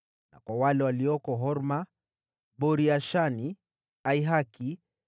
na kwa wale walioko Horma, Bori-Ashani, Athaki,